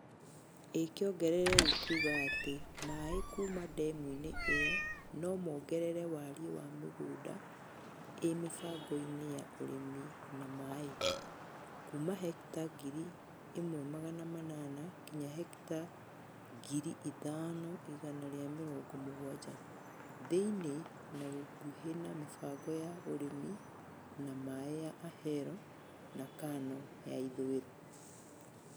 Ĩkĩongereire kuuga atĩ maĩ kuuma ndemu-inĩ ĩyo no mongerere warie wa mĩgunda ĩ mĩbangoini ya urĩmi na maaĩ . Kuuma hekita ngiri ĩmwe magana manana kinya hekita ngiri ithano igana ria mĩrongo mũgwanja. Thĩinĩ na gũkuhĩ na mĩbango ya urĩmi na maaĩ ya Ahero na Kano ya ithũĩro.